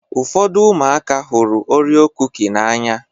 Ụfọdụ ụmụaka hụrụ Orio kuki n'anya.